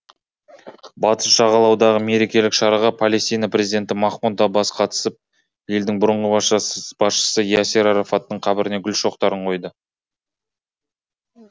батыс жағалаудағы мерекелік шараға палестина президенті махмұд аббас қатысып елдің бұрынғы басшысы ясир арафаттың қабіріне гүл шоқтарын қойды